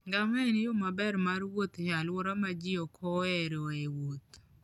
Ngamia en yo maber mar wuoth e alwora ma ji ok oheroe wuoth.